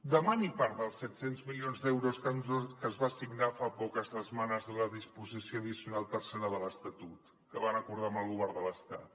demani part dels set cents milions d’euros que es van assignar fa poques setmanes de la disposició addicional tercera de l’estatut que van acordar amb el govern de l’estat